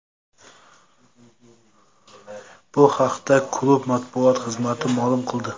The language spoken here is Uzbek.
Bu haqda klub matbuot xizmati ma’lum qildi .